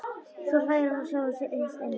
Svo hlær hann að sjálfum sér innst inni.